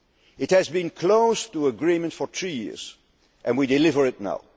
economy. It has been close to agreement for three years and we are delivering